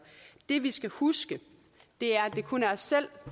det vi skal huske er at det kun er os selv